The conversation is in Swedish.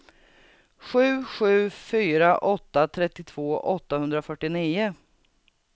sju sju fyra åtta trettiotvå åttahundrafyrtionio